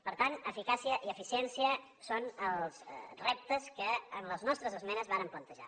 per tant eficàcia i eficiència són els reptes que en les nostres esmenes vàrem plantejar